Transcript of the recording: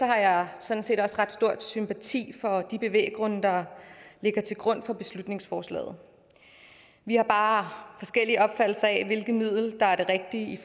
har jeg sådan set også ret stor sympati for de bevæggrunde der ligger til grund for beslutningsforslaget vi har bare forskellige opfattelser af hvilket middel der er det rigtige